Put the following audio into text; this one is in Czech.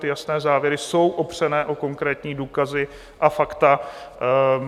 Ty jasné závěry jsou opřené o konkrétní důkazy a fakta.